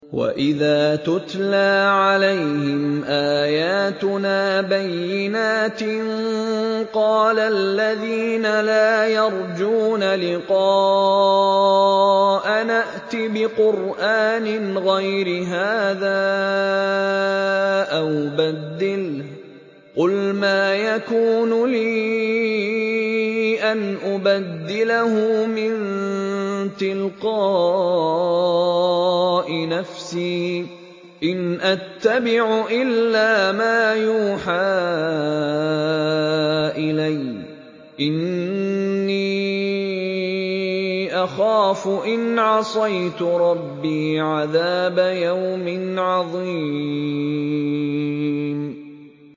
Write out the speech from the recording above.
وَإِذَا تُتْلَىٰ عَلَيْهِمْ آيَاتُنَا بَيِّنَاتٍ ۙ قَالَ الَّذِينَ لَا يَرْجُونَ لِقَاءَنَا ائْتِ بِقُرْآنٍ غَيْرِ هَٰذَا أَوْ بَدِّلْهُ ۚ قُلْ مَا يَكُونُ لِي أَنْ أُبَدِّلَهُ مِن تِلْقَاءِ نَفْسِي ۖ إِنْ أَتَّبِعُ إِلَّا مَا يُوحَىٰ إِلَيَّ ۖ إِنِّي أَخَافُ إِنْ عَصَيْتُ رَبِّي عَذَابَ يَوْمٍ عَظِيمٍ